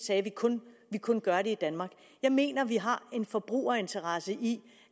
sagde at vi kun kun gør det i danmark jeg mener at vi har en forbrugerinteresse i